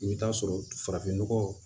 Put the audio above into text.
I bɛ taa sɔrɔ farafinnɔgɔ